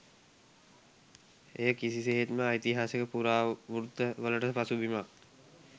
එය කිසිසේත්ම ඓතිහාසික පුරාවෘත්ති වලට පසුබිමක්